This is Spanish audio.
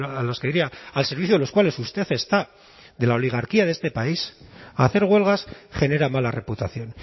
a los que diría al servicio de los cuales usted está de la oligarquía de este país hacer huelgas genera mala reputación